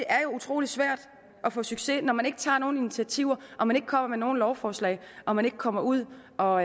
er utrolig svært at få succes når man ikke tager nogen initiativer og man ikke kommer med nogen lovforslag og man ikke kommer ud og